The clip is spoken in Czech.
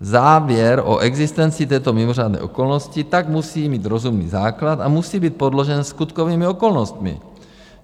Závěr o existenci této mimořádné okolnosti tak musí mít rozumný základ a musí být podložen skutkovými okolnostmi.